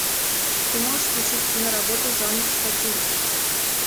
ты можешь включить киноработу жанр сатира